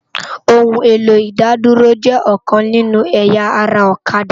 Óòún éló idádúró jè òkán ninú ëyá ará Òkàdá